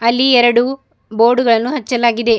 ಅಲ್ಲಿ ಎರಡು ಬೋರ್ಡು ಗಳನ್ನು ಹಚ್ಚಲಾಗಿದೆ.